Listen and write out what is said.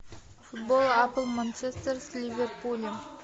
футбол апл манчестер с ливерпулем